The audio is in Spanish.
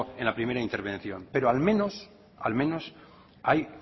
en la primera intervención pero al menos hay